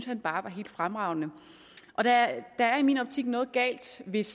han bare var helt fremragende der er i min optik noget galt hvis